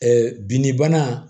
binni bana